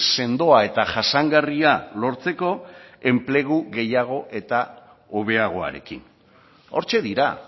sendoa eta jasangarria lortzeko enplegu gehiago eta hobeagoarekin hortxe dira